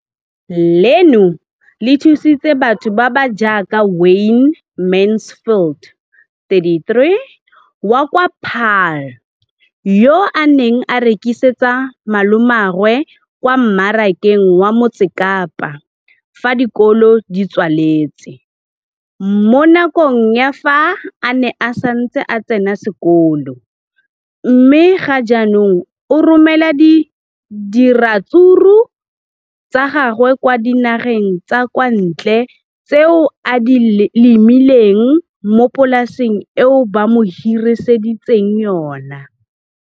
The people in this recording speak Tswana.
Leno le thusitse batho ba ba jaaka Wayne Mansfield, 33, wa kwa Paarl, yo a neng a rekisetsa malomagwe kwa Marakeng wa Motsekapa fa dikolo di tswaletse, mo nakong ya fa a ne a santse a tsena sekolo, mme ga jaanong o romela diratsuru tsa gagwe kwa dinageng tsa kwa ntle tseo a di lemileng mo polaseng eo ba mo hiriseditseng yona.